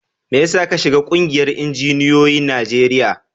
Mai yasa ka shiga ƙungiyar injiniyoyin Najeriya?